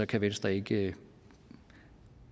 kan venstre ikke